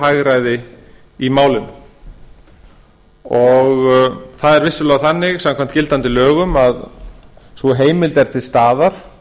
óhagræði í málinu og það er vissulega þannig samkvæmt gildandi lögum að sú heimild er til staðar